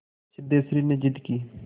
सिद्धेश्वरी ने जिद की